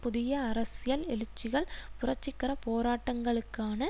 புதிய அரசியல் எழுச்சிகள் புரட்சிகர போராட்டங்களுக்கான